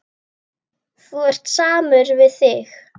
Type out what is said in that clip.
Þú ert samur við þig!